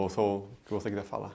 Ou só o que você queira falar.